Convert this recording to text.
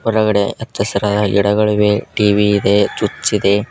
ಹೊರಗಡೆ ಹಚ್ಚಹಸಿರಾದ ಗಿಡಗಳಿವೆ ಟಿ_ವಿ ಇದೆ ಚುಚ್ ಇದೆ.